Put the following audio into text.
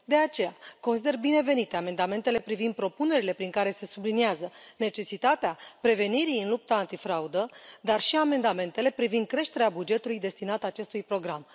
De aceea, consider binevenite amendamentele privind propunerile prin care se subliniază necesitatea prevenirii în lupta antifraudă, dar și amendamentele privind creșterea bugetului destinat acestui program.